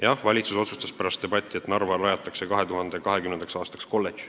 Jah, valitsus otsustas pärast debatti, et Narva rajatakse 2020. aastaks kolledž.